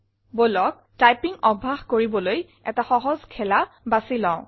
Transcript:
বলক টাইপিং অভ্যাস কৰিবলৈ এটা সহজ খেলা বাছি লওঁ